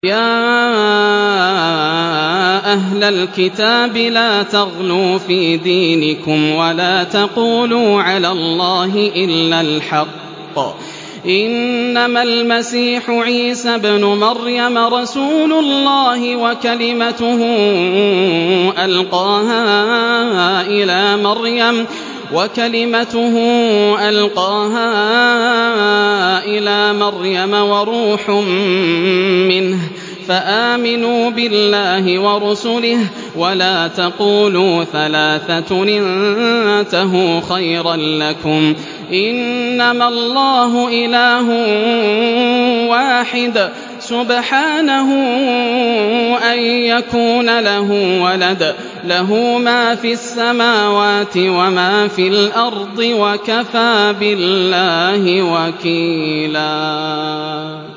يَا أَهْلَ الْكِتَابِ لَا تَغْلُوا فِي دِينِكُمْ وَلَا تَقُولُوا عَلَى اللَّهِ إِلَّا الْحَقَّ ۚ إِنَّمَا الْمَسِيحُ عِيسَى ابْنُ مَرْيَمَ رَسُولُ اللَّهِ وَكَلِمَتُهُ أَلْقَاهَا إِلَىٰ مَرْيَمَ وَرُوحٌ مِّنْهُ ۖ فَآمِنُوا بِاللَّهِ وَرُسُلِهِ ۖ وَلَا تَقُولُوا ثَلَاثَةٌ ۚ انتَهُوا خَيْرًا لَّكُمْ ۚ إِنَّمَا اللَّهُ إِلَٰهٌ وَاحِدٌ ۖ سُبْحَانَهُ أَن يَكُونَ لَهُ وَلَدٌ ۘ لَّهُ مَا فِي السَّمَاوَاتِ وَمَا فِي الْأَرْضِ ۗ وَكَفَىٰ بِاللَّهِ وَكِيلًا